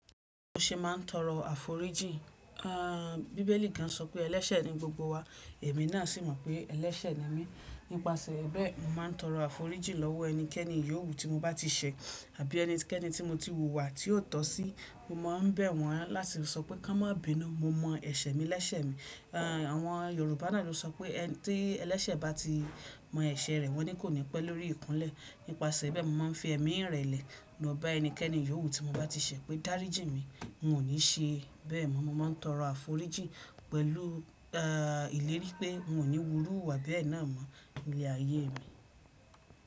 Mo ṣe máa ń tọrọ àforíjì. Bíbélì gan sọ pé ẹlẹ́sẹ̀ ni gbogbo wa, èmi náà sì mọ̀ pé ẹlẹ́sẹ̀ ni mí. Nípasẹ̀ ẹ́ bẹ́ẹ̀, mo máa ń tọrọ àforíjì lọ́wọ́ ẹnikẹ́ni yóò wu tí mo bá ti ṣẹ̀, àbí ẹnikẹ́ni tí mo ti hùwà tí ó tọ́ sí. Mo máa ń bẹ̀ wọ́n láti sọ pé kò n má bínú, mo mọ̀ ẹ̀ṣẹ̀ mi lẹ́sẹ̀ mi. Àwọn Yorùbá náà ló sọ pé ẹni tí ẹlẹ́sẹ̀ bá ti mọ ẹ̀ṣẹ̀ rẹ̀ wọ́n ní kò ní pẹ́ lórí ìkúnlẹ̀. Nípasẹ̀ ẹ́ bẹ́ẹ̀, mo máa ń fi ẹ̀mí ìrẹ̀lẹ̀ ló ba ẹnikẹ́ni yóò wu tí mo bá ti ṣẹ̀ pé dáríjì mi, mo níí ṣẹ. Bẹ́ẹ̀ mọ́, mo máa ń tọrọ àforíjì pẹ̀lú ìlérí pé n ò ní wúru iwà bẹ́ẹ̀ náà mọ́ nílé ayé mi.